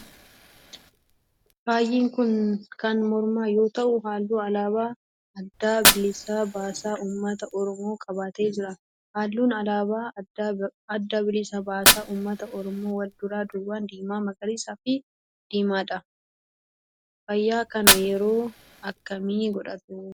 Faayi kun kan mormaa yoo ta'u halluu alaabaa adda bilisa baasaa ummata oromoo qabatee jira. halluun alaabaa adda bilisa baasaa ummata oromoo wal duraa duuban diimaa, magariisa fi diimaadha. faaya kana yeroo akkamii godhatu?